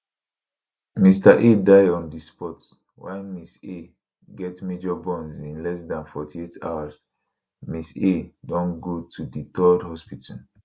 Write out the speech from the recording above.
mr a die on di spot while mrs a get major burns in less dan 48 hours mrs a don go to di 3rd hospital